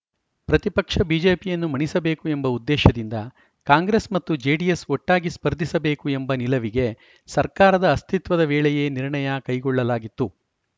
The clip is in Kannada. ಪ್ರತಿಪಕ್ಷ ಬಿಜೆಪಿಯನ್ನು ಮಣಿಸಬೇಕು ಎಂಬ ಉದ್ದೇಶದಿಂದ ಕಾಂಗ್ರೆಸ್‌ ಮತ್ತು ಜೆಡಿಎಸ್‌ ಒಟ್ಟಾಗಿ ಸ್ಪರ್ಧಿಸಬೇಕು ಎಂಬ ನಿಲವಿಗೆ ಸರ್ಕಾರದ ಅಸ್ತಿತ್ವದ ವೇಳೆಯೇ ನಿರ್ಣಯ ಕೈಗೊಳ್ಳಲಾಗಿತ್ತು